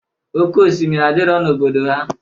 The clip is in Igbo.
Oke osimiri adirọ n'obodo ha.